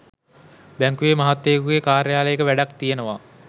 බැංකුවේ මහත්තයකුගේ කාර්යාලයක වැඩක්‌ තියෙනවා